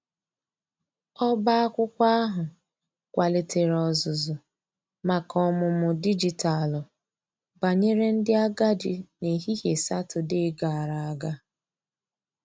ọba akwụkwo ahu kwalitere ozuzu maka ọmụmụ dịjịtalụ banyere ndi agadi n'ehihie satọde gara aga.